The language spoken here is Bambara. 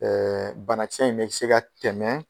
bana kisɛ in me se ka tɛmɛ